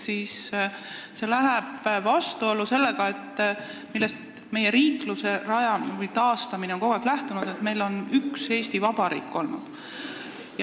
See aga läheb vastuollu sellega, millest meie riikluse taastamine on kogu aeg lähtunud: et meil on üks Eesti Vabariik olnud.